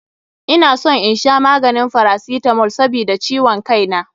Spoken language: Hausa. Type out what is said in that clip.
Ina son in sha maganin paracetamol sabida ciwon kai na.